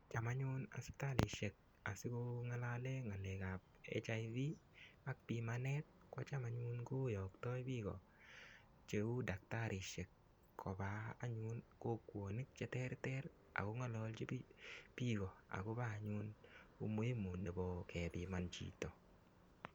Cham anyun sipitalishek asiko ng'alale ng'alekab HIV ak pimanet ko cham anyun koyoktoi biko cheu daktarishek koba anyun kokwonik cheterter ako ng'ololji biko akobo anyun umuhimu nebo kepiman chito